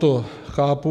To chápu.